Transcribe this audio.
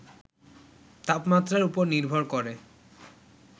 তাপমাত্রার উপর নির্ভর করে